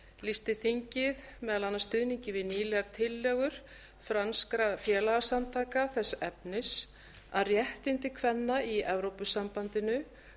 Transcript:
lýsti þingið meðal annars stuðningi við nýlegar tillögur franskra félagasamtaka þess efnis að réttindi kvenna í evrópusambandinu